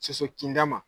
Soso kinda ma